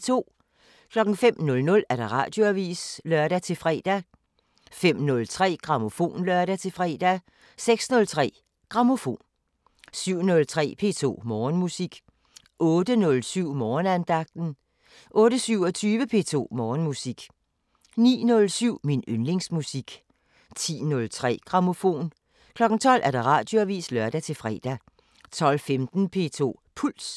05:00: Radioavisen (lør-fre) 05:03: Grammofon (lør-fre) 06:03: Grammofon 07:03: P2 Morgenmusik 08:07: Morgenandagten 08:27: P2 Morgenmusik 09:07: Min yndlingsmusik 10:03: Grammofon 12:00: Radioavisen (lør-fre) 12:15: P2 Puls